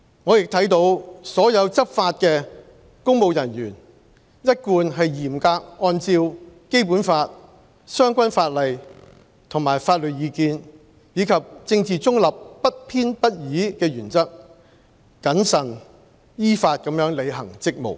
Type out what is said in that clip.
我亦看到所有執法的公務人員一貫是嚴格按照《基本法》、相關法例和法律意見，以及政治中立、不偏不倚的原則，謹慎依法履行職務。